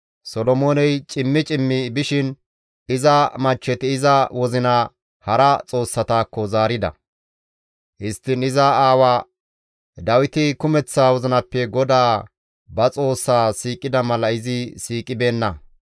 Solomooney cimmi cimmi bishin iza machcheti iza wozinaa hara xoossatakko zaarida; histtiin iza aawa Dawiti kumeththa wozinappe GODAA ba Xoossaa siiqida mala izi siiqibeenna.